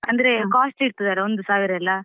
ಅಂದ್ರೆ costly ಇರ್ತದಲ್ವ ಒಂದು ಸಾವಿರ ಎಲ್ಲ.